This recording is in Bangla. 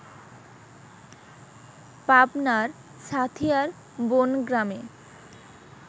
পাবনার সাঁথিয়ার বনগ্রামে